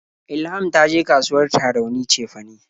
Ilham ta je kasuwar Tarauni cefane.